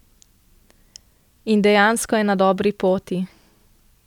In dejansko je na dobri poti.